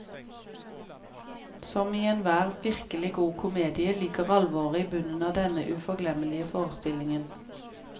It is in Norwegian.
Som i enhver virkelig god komedie ligger alvoret i bunnen av denne uforglemmelige forestillingen.